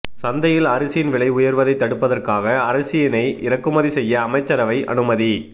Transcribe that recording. சந்தையில் அரிசியின் விலை உயர்வதை தடுப்பதற்காக அரிசியினை இறக்குமதி செய்ய அமைச்சரவை அனுமதி